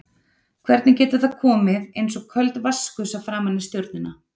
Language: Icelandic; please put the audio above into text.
Hvernig getur það komið eins og köld vatnsgusa framan í stjórnina?